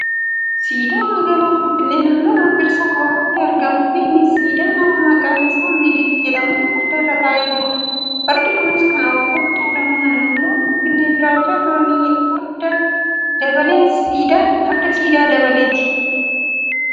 Siidaa magaalaa Finfinnee naannoo Birbirsa Goorootti argamuu fi Innis siidaa namni maqaan isaa minilik jedhamu farda irra taa'ee jirudha. Fardi kunis kan oromoo tuulamaa naannoo Finfinnee jiraachaa turan farda Dabaleeti.